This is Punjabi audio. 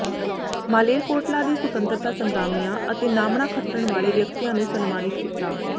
ਮਾਲੇਰਕੋਟਲਾ ਦੇ ਸੁਤੰਤਰਤਾ ਸਗਰਾਮੀਆਂ ਅਤੇ ਨਾਮਣਾ ਖੱਟਣ ਵਾਲੇ ਵਿਅਕਤੀਆਂ ਨੂੰ ਸਨਮਾਨਿਤ ਕੀਤਾ